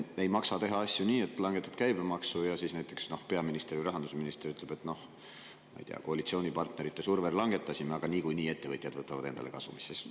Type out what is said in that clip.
Ei maksa teha asju nii, et langetad käibemaksu ja näiteks peaminister või rahandusminister ütleb, ma ei tea, et koalitsioonipartnerite survel langetasime, aga niikuinii ettevõtjad võtavad selle endale kasumisse.